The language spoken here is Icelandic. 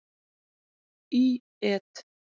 Í et.